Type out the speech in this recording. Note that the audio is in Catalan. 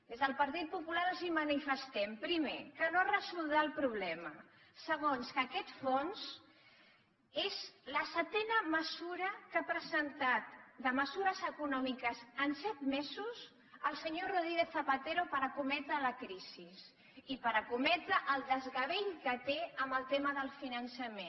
des del partit popular els manifestem primer que no es resoldrà el problema segon que aquest fons és la setena mesura que ha presentat de mesures econòmiques en set mesos el senyor rodríguez zapatero per escometre la crisi i per escometre el desgavell que té amb el tema del finançament